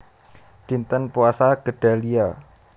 Dinten Puasa Gedalia